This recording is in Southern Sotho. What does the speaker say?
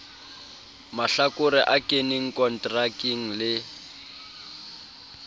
mahlakore a keneng konterakeng le